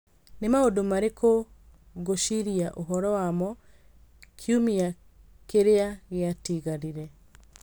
Nĩ maũndũ marĩkũ ngũciria ũhoro wamo kiumia kĩrĩa gĩatigarire